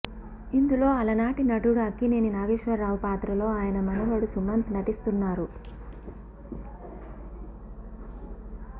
ఇందులో అలనాటి నటుడు అక్కినేని నాగేశ్వరరావు పాత్రలో ఆయన మనవడు సుమంత్ నటిస్తున్నారు